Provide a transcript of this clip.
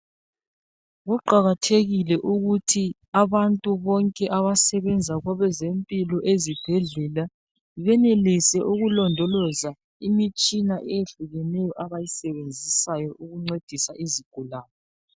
Kuqakathekile ukuthi abantu bonke abasebenza kwabezempilo ezibhedlela benelise ukulondoloza imitshina eyehlukeneyo abayisebenzisayo ukuncedisa izigulane.